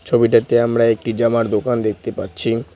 ছবিটাতে আমরা একটি জামার দোকান দেখতে পাচ্ছি।